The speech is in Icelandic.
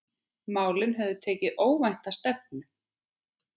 Málin höfðu tekið óvænta stefnu.